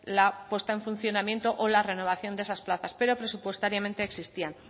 la puesta en funcionamiento o la renovación de esas plazas pero presupuestariamente existían